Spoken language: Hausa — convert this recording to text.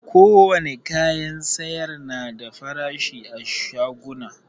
Ko wane kayan sayar na da farashi a shaguna